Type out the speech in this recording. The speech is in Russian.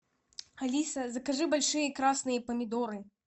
алиса закажи большие красные помидоры